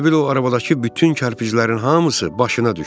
Elə bil o arabadakı bütün kərpiclərin hamısı başına düşdü.